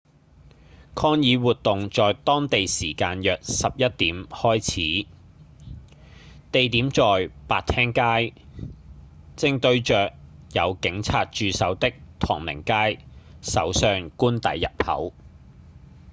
抗議活動在當地時間約11點開始 utc+1 地點在白廳街正對著有警察駐守的唐寧街首相官邸入口